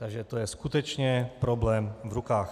Takže to je skutečně problém v rukách.